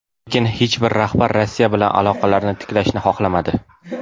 Lekin hech bir rahbar Rossiya bilan aloqalarni tiklashni xohlamadi.